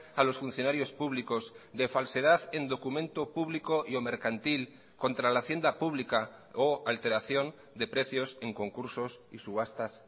a los funcionarios públicos de falsedad en documento público y o mercantil contra la hacienda pública o alteración de precios en concursos y subastas